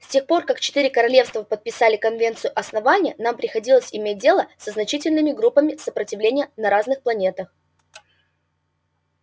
с тех пор как четыре королевства подписали конвенцию основания нам приходилось иметь дело со значительными группами сопротивления на разных планетах